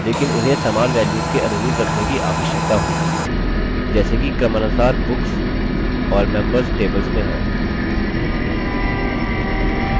लेकिन उन्हें समान values के अनुरूप रखने की आवश्यकता होगी जैसे कि क्रमानुसार books और members tables में है